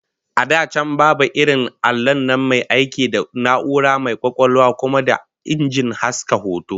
A da can babu irin allon nan mai aiki da na'ura mai kwakwalwa kuma da injin haska hoto